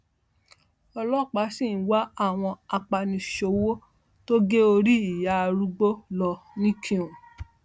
ọlọpàá sì ń wá àwọn apaniṣòwò tó gé orí ìyá arúgbó lọ nìkùn